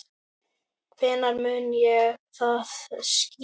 Hvenær mun það skýrast?